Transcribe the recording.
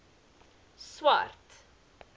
swart